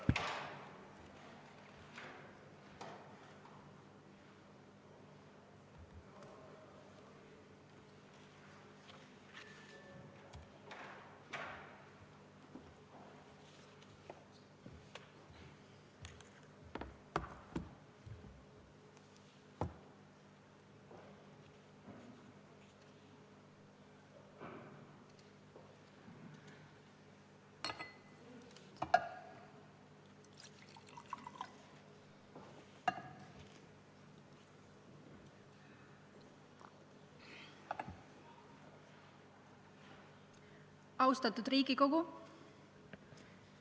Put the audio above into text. Austatud Riigikogu!